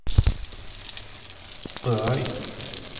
Rødøy